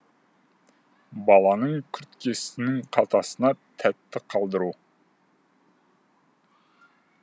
баланың күрткесінің қалтасына тәтті қалдыру